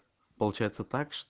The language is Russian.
получается